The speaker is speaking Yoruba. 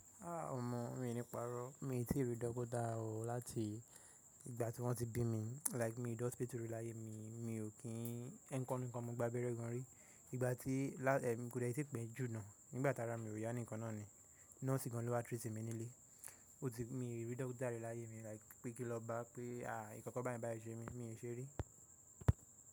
Omọ̀ mi ò ní pàrọ̀. Mi ò tíì rí dókítà o láti ìgbà tí wọ́n ti bí mi. Like mi de Hospitu rí láyé mi, mi ò kí ń ẹ̀ ǹkan ni kan mo gbá abẹ́rẹ́ gan rí. Ìgbà tí là ẹ̀ kò lè tí pẹ́ jù náà, nígbà tá ra mi ò yá nǹkan náà ni. Nọ́ọ̀sì gan ló wá treat mi nílẹ̀. Emi ti mi rí dókítà rí láyé mi like pé kí lọ bá pé nkankan báyi báyìí ṣe mi, mi ò ṣe rí.